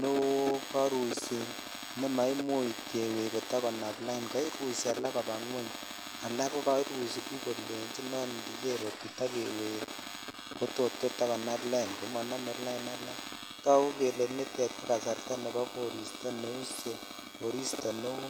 neo korusii akee ne maimuch kotakonam lainiak kokoirusi buj kolenchi nan kot keti kotot konam lain komonome alak togu kele nitetko kasarta nebo koristo neuse koristo neo.